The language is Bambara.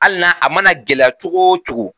Hali n'a a mana gɛlɛya cogo cogo